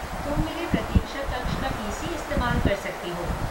तुम मेरे प्रतीक्षा कक्ष का पी.सी. इस्तेमाल कर सकती हो।